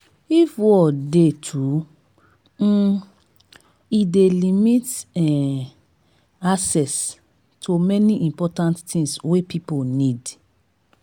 if war de too um e de limit um access to many important things wey pipo need